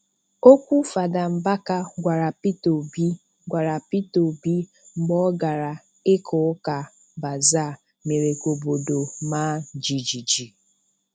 Okwu Fada Mbaka gwara Peter Obi gwara Peter Obi mgbe ọ gara ịka ụka Bazaa mere ka obodo maa jijiji.